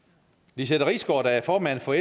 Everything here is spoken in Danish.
lizette risgaard der er formand for